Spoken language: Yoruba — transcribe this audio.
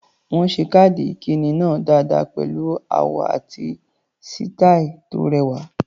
Wọ́n ṣe káàdì ìkíni náà dáadáa pẹ̀lú àwọ̀ àti sítàì tó rẹwà.